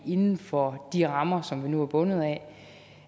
inden for de rammer som vi nu er bundet